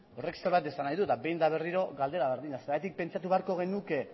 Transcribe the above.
horrek zerbait esan nahi du eta behin eta berriro galdera berdina zergatik pentsatu beharko genuke